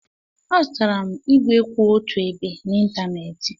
Azụtara m ígwè kwụ otu ebe n'ịntanetị.